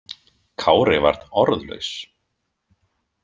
Kári varð orðlaus.